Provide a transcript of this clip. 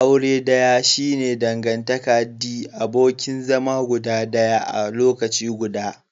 Aure daya shi ne dangantaka the abokin zama guda daya a lokaci guda.